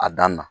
A dan na